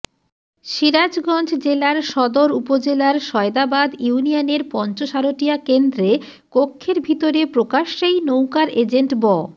সিরাজগঞ্জঃ জেলার সদর উপজেলার সয়দাবাদ ইউনিয়নের পঞ্চসারটিয়া কেন্দ্রে কক্ষের ভিতরে প্রকাশ্যেই নৌকার এজেন্ট ব